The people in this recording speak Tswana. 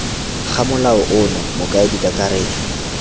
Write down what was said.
ga molao ono mokaedi kakaretso